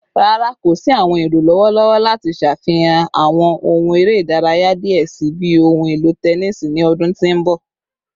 Rara, ko si awọn ero lọwọlọwọ lati ṣafihan awọn ohun ere idaraya diẹ sii bii ohun elo tẹnisi ni ọdun ti n bọ